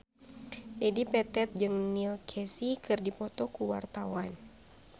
Dedi Petet jeung Neil Casey keur dipoto ku wartawan